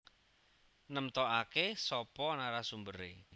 Nemtokake sapa narasumbere